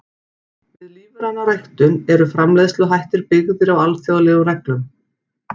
Við lífræna ræktun eru framleiðsluhættir byggðir á alþjóðlegum reglum.